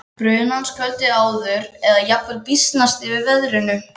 brunans kvöldið áður eða jafnvel býsnast yfir veðrinu.